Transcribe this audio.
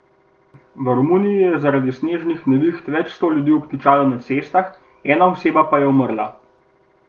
V Romuniji je zaradi snežnih neviht več sto ljudi obtičalo na cestah, ena oseba pa je umrla.